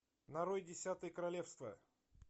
нарой десятое королевство